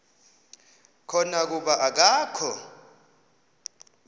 khona kuba akakho